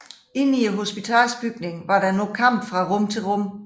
Inde i hospitalsbygningen var der nu kampe fra rum til rum